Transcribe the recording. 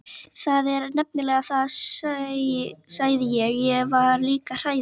Það er nefnilega það, sagði ég og var líka hrærður.